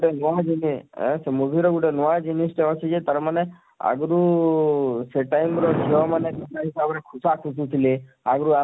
ଅଁ ସେ movie ର ନୁଆଁ ଜିନିଷ ଟେ ଅଛି ଯେ ତାର ମାନେ ଆଗରୁ ସେ time ର ଝିଅ ମାନେ କେନତା ହିସାବରେ ଖୁଶା ଖୁସୁ ଥିଲେ ଆଗରୁ